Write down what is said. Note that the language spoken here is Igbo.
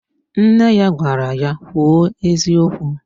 Nne ya gwara ya, "kwuo eziokwu"!